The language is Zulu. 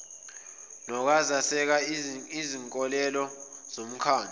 nokweseka izinkolelo zomkhandlu